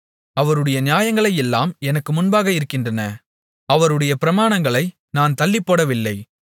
அவருடைய நியாயங்களையெல்லாம் எனக்கு முன்பாக இருக்கின்றன அவருடைய பிரமாணங்களை நான் தள்ளிப்போடவில்லை